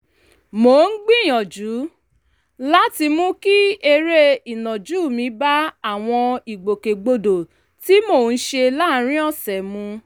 mò ń gbìyànjú láti mú kí eré ìnàjú mi bá àwọn ìgbòkègbodò tí mò ń ṣe láàárín ọ̀sẹ̀ mu